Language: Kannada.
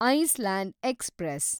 Iceland express